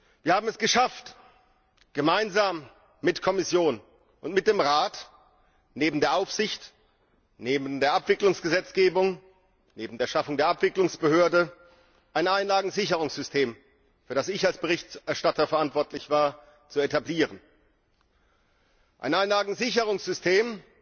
Wir haben es geschafft, gemeinsam mit der Kommission und mit dem Rat, neben der Aufsicht, neben der Abwicklungsgesetzgebung, neben der Schaffung der Abwicklungsbehörde, ein Einlagensicherungssystem, für das ich als Berichterstatter verantwortlich war, zu etablieren ein Einlagensicherungssystem,